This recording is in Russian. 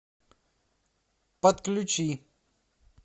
подключи